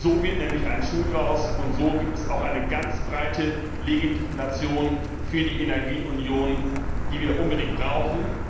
So wird nämlich ein Schuh daraus, und so gibt es auch eine ganz breite Legitimation für die Energieunion, die wir unbedingt brauchen.